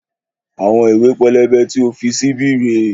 Àwọn ìwé pélébé tí o fi sí bí rèé